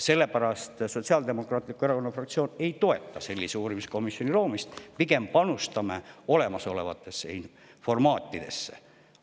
Sellepärast Sotsiaaldemokraatliku Erakonna fraktsioon ei toeta sellise uurimiskomisjoni loomist, pigem pooldame panustamist olemasolevatesse formaatidesse.